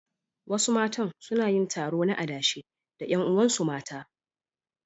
Wasu matan suna yin taro na adashe da ƴan uwansu mata.